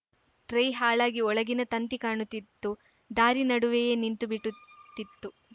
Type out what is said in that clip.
tyre ಹಾಳಾಗಿ ಒಳಗಿನ ತಂತಿ ಕಾಣುತ್ತಿತ್ತು ದಾರಿ ನಡುವೆಯೇ ನಿಂತು ಬಿಟುತ್ತಿತ್ತು